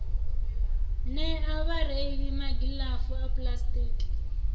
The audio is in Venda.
nea vhareili magilavu a puḽasitiki